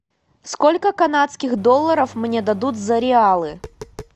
сколько канадских долларов мне дадут за реалы